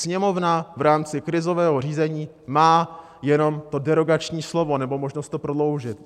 Sněmovna v rámci krizového řízení má jenom to derogační slovo nebo možnost to prodloužit.